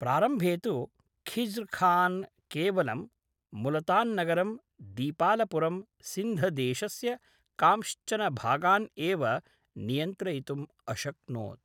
प्रारम्भे तु ख़िज़्रखान् केवलं मुलतान्नगरं, दीपालपुरं, सिन्धदेशस्य कांश्चन भागान् एव नियन्त्रयितुम् अशक्नोत्।